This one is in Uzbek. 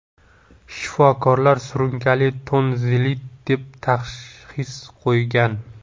Shifokorlar surunkali tonzillit deb tashxis qo‘ygan.